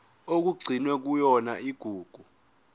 okugcinwe kuyona igugu